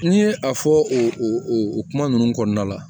N'i ye a fɔ o kuma ninnu kɔnɔna la